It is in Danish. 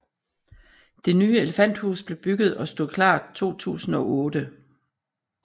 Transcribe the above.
Det nye elefanthus blev bygget og stod klart 2008